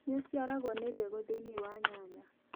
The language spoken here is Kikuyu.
Nĩ ũciaragwo nĩ mbegũ thĩiniĩ wa nyanya